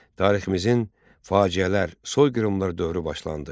Tariximizin faciələr, soyqırımlar dövrü başlandı.